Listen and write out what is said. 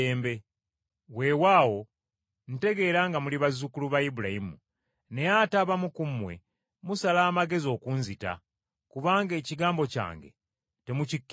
Weewaawo ntegeera nga muli bazzukulu ba Ibulayimu, naye ate abamu ku mmwe musala amagezi okunzita, kubanga ekigambo kyange temukikkiriza.